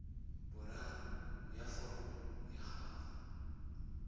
boraro ya foromo ya gago